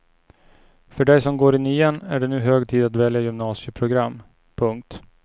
För dig som går i nian är det nu hög tid att välja gymnasieprogram. punkt